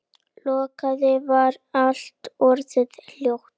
Loks var allt orðið hljótt.